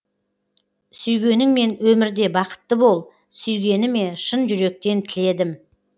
сүйгеніңмен өмірде бақытты бол сүйгеніме шын жүректен тіледім